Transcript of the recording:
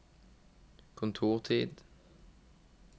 kontortid